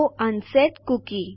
તો unset cookie